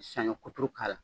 Saɲɔ kuturu k'ala.